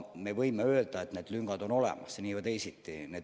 Me võime öelda, et need lüngad on olemas nii või teisiti.